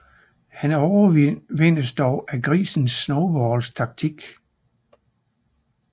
Han overvindes dog af grisen Snowballs taktik